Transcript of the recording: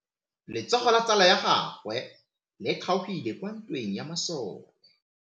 Letsogo la tsala ya gagwe le kgaogile kwa ntweng ya masole.